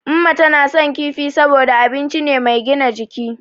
Umma tana son kifi saboda abinci ne mai gina jiki.